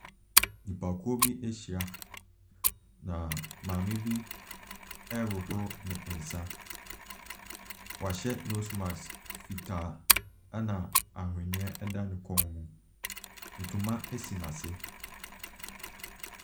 Nipakuo bi ɛhyia na maame bi ɛhohoro ne nsa. W'ahyɛ nose mask fitaa ɛna awheniɛ ɛda ne kon mu. Ntoma esi n'ase.